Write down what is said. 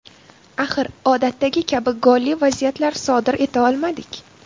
Axir, odatdagi kabi golli vaziyatlar sodir eta olmadik.